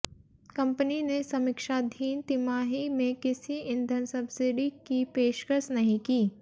company ने समीक्षाधीन तिमाही में किसी ईंधन सब्सिडी की पेशकश नहीं की